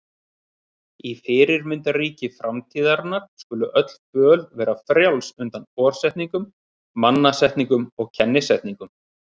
Í fyrirmyndarríki framtíðarinnar skulu öll föll vera frjáls undan forsetningum, mannasetningum og kennisetningum.